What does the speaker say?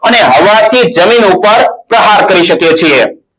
અને હવાથી જમીન ઉપર પ્રહાર કરી શકીએ છીએ.